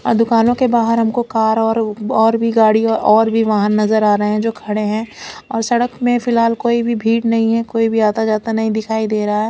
और दुकानों के बाहर हमको कार और भी गाड़िया और भी वाहन नजर आ रहे है जो खडे है और सडक में फिलहाल कोई भी भीड़ नही है कोई भी आता जाता नही दिखाई दे रहा है।